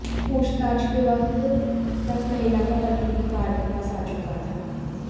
पूछताछ के वक्त तक महिला का पति भी कार के पास आ चुका था